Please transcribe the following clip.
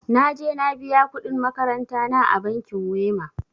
Na je na biya kuɗin makarantana a bankin wema.